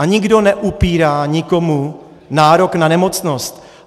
A nikdo neupírá nikomu nárok na nemocnost.